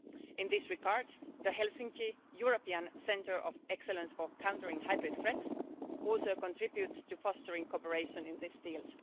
In this regard, the Helsinki European Centre of Excellence for Countering Hybrid Threats also contributes to fostering cooperation in this field.